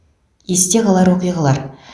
есте қалар оқиғалар